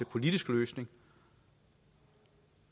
politisk løsning